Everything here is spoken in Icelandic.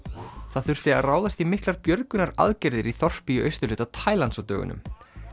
það þurfti að ráðast í miklar björgunaraðgerðir í þorpi í austurhluta Tælands á dögunum